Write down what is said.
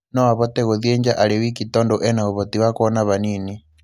No avote gũthiĩ nja arĩ wiki tondũ ena uvoti wa kuona vanini.